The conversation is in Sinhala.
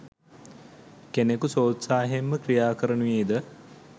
කෙනකු ස්වෝත්සාහයෙන්ම ක්‍රියා කරනුයේද